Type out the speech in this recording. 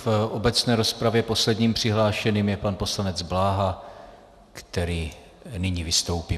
V obecné rozpravě posledním přihlášeným je pan poslanec Bláha, který nyní vystoupí.